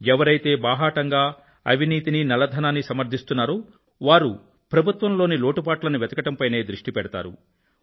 ఎవరైతే బాహాటంగా అవినీతినీ నల్లధనాన్నీ సమర్థిస్తున్నారో వారు ప్రభుత్వంలోని లోటుపాట్లని వెతకడంపైనే దృష్టి పెడతారు